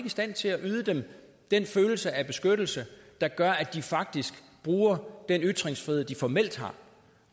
i stand til at yde dem den følelse af beskyttelse der gør at de faktisk bruger den ytringsfrihed de formelt har